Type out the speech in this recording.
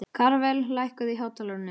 Karvel, lækkaðu í hátalaranum.